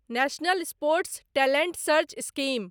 national sports talent search scheme